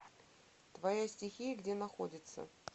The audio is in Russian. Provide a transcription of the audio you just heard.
твоя стихия где находится